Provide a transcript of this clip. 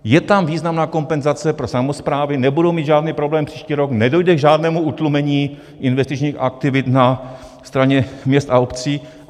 Je tam významná kompenzace pro samosprávy, nebudou mít žádný problém příští rok, nedojde k žádnému utlumení investičních aktivit na straně měst a obcí.